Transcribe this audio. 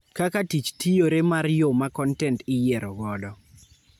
Kaka tich tiyore mar yoo ma kontent iyiero godo